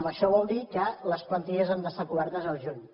això vol dir que les plantilles han d’estar cobertes al juny